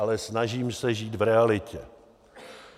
Ale snažím se žít v realitě.